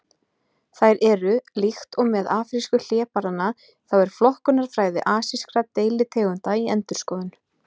Þær eru: Líkt og með afrísku hlébarðanna þá er flokkunarfræði asískra deilitegunda í endurskoðun.